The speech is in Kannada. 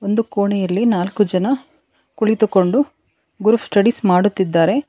ಒಂದು ಕೋಣೆಯಲ್ಲಿ ನಾಲ್ಕು ಜನ ಕುಳಿತುಕೊಂಡು ಗ್ರೂಪ್ ಸ್ಟಡೀಸ್ ಮಾಡುತ್ತಿದ್ದಾರೆ.